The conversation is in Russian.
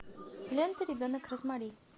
лента ребенок розмари